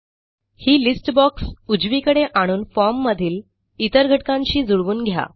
ही list box उजवीकडे आणून formमधील इतर घटकांशी जुळवून घ्या